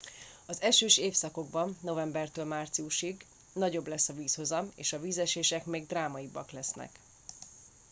az esős évszakban novembertől márciusig nagyobb lesz a vízhozam és a vízesések még drámaibbak lesznek